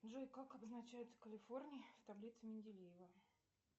джой как обозначается калифорний в таблице менделеева